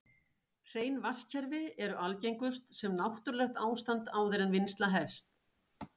Hrein vatnskerfi eru algengust sem náttúrlegt ástand áður en vinnsla hefst.